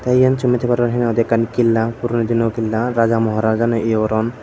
te iyen tumi sey paror he nang hoi di ekkan killa puroni dinor killa Raja maharaja gune iyo goron.